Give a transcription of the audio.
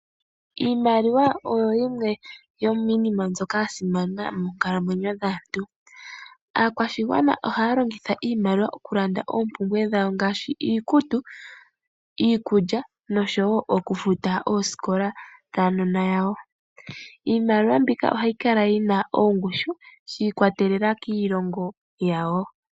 Iimaliwa oyo yimwe yo miinima mbyoka yasimana moo nkalamwenyo dhaantu. Aakwashigwana ohaya longitha iimaliwa okulanda oompumbwe dhawo ngaashi , iikutu, iikulya nosho woo okufuta osikola dhaa nona yawo. Iimaliwa mbika ohayi kala yina ongushu shii kwatelela kiilongo yawo.